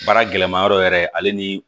Baara gɛlɛma yɔrɔ yɛrɛ ale ni